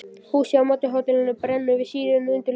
Húsið á móti hótelinu brennur við sírenu undirleik.